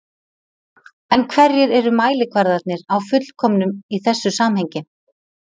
En hverjir eru mælikvarðarnir á fullkomnun í þessu samhengi?